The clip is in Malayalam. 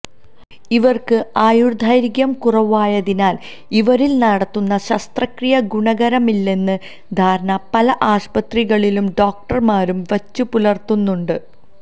ഇവര്ക്ക് ആയുര്ദൈര്ഘ്യം കുറവായതിനാല് ഇവരില് നടത്തുന്ന ശസ്ത്രക്രിയ ഗുണകരമാകില്ലെന്ന ധാരണ പല ആശുപത്രികളും ഡോക്ടര്മാരും വച്ചുപുലര്ത്തുന്നുണ്ട്